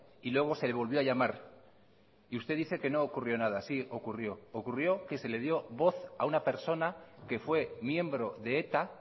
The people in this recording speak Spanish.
y luego se le volvió a llamar y usted dice que no ocurrió nada sí ocurrió ocurrió que se le dio voz a una persona que fue miembro de eta